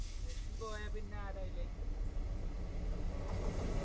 Messi പോയ പിന്നെ ആരാ അയില്